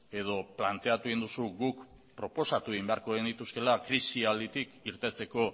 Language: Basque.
edo planteatu egin duzu guk proposatu egin beharko genituzkeela krisialditik irteteko